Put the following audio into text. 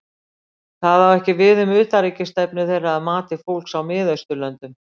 Það á ekki við um utanríkisstefnu þeirra að mati fólks í Mið-Austurlöndum.